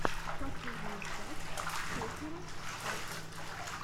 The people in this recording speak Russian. последняя часть сефирос арт